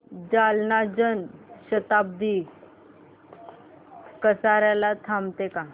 जालना जन शताब्दी कसार्याला थांबते का